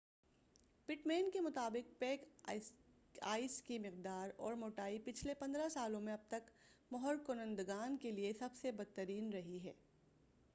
pit مین کے مُطابق pack ice کی مقدار اور موٹائی پچھلے 15 سالوں میں اب تک مہر کنندگان کے لیے سب سے بدترین رہی ہے